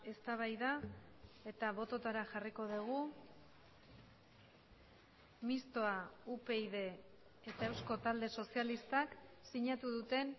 eztabaida eta bototara jarriko dugu mistoa upyd eta eusko talde sozialistak sinatu duten